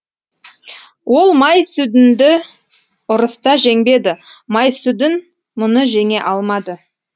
ол май сүдінді ұрыста жеңбеді май сүдін мұны жеңе алмады